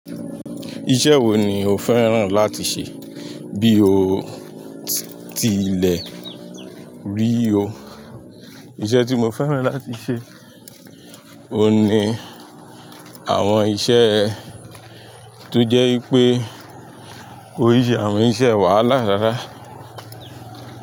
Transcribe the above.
Iṣẹ́ wo ni o fẹ́ràn láti ṣe bí o ti lẹ̀ rí i o? Iṣẹ́ tí mo fẹ́ràn láti ṣe, oun ní àwọn iṣẹ́ tó jẹ́ pé kò í ṣe àwọn iṣẹ́ wàhálà rárá.